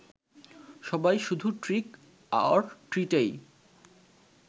সবাই শুধু trick or ট্রিটেই